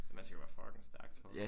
Men man skal være fucking stærk tror du